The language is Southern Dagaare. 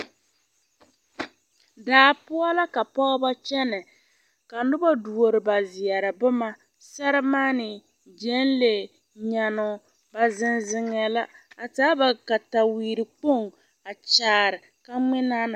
Daa poɔ la ka pɔgeba kyɛnɛ ka noba duori ba zeɛre boma sermaane, gyenlee nyannoo zeŋ zeŋɛɛ la a taa ba kataweerekpoŋ a kyaare ka ŋmenaa na.